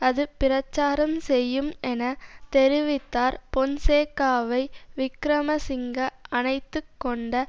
அது பிரச்சாரம் செய்யும் என தெரிவித்தார் பொன்சேகாவை விக்கிரமசிங்க அணைத்துக்கொண்ட